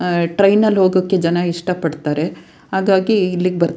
ಅಹ್ ಟ್ರೈನಿನಲ್ಲಿ ಹೋಗೋಕೆ ಜನ ಇಷ್ಟ ಪಡ್ತಾರೆ ಹಾಗಾಗಿ ಇಲ್ಲಿಗ್ ಬರ್ --